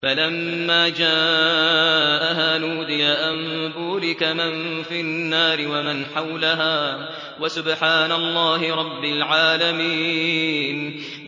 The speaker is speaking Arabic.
فَلَمَّا جَاءَهَا نُودِيَ أَن بُورِكَ مَن فِي النَّارِ وَمَنْ حَوْلَهَا وَسُبْحَانَ اللَّهِ رَبِّ الْعَالَمِينَ